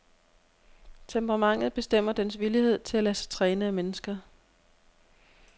Temperamentet bestemmer dens villighed til at lade sig træne af mennesker.